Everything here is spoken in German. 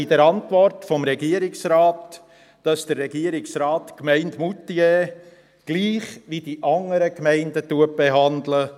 In der Antwort des Regierungsrates kann man auch lesen, dass der Regierungsrat die Gemeinde Moutier gleich wie die anderen Gemeinden des Kantons behandelt.